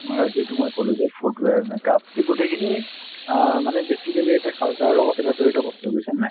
যিটো মই ক'লো যে foot wear, make up সেই গোটেইখিনি অ মানে basically এটা culture ৰৰ লগত এটা জড়িত বস্তু বুজিছানে নাই